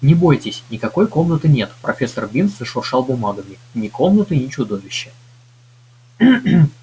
не бойтесь никакой комнаты нет профессор бинс зашуршал бумагами ни комнаты ни чудовища